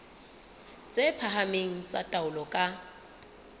tse phahameng tsa taolo ka